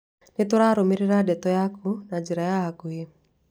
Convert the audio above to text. Nĩ tũrarumĩriĩra ndeto yaku na njĩra ya hakuhĩ.